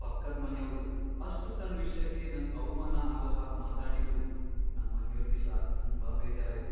ಪಕ್ಕದ್ ಮನೆಯವ್ರು ಅಷ್ಟ್ ಸಣ್ ವಿಷ್ಯಕ್ಕೆ ನಂಗ್ ಅವ್ಮಾನ ಆಗೋ ಹಾಗ್ ಮಾತಾಡಿದ್ದು ನಮ್ಮನೆಯೋರ್ಗೆಲ್ಲ ತುಂಬಾ ಬೇಜಾರಾಯ್ತು.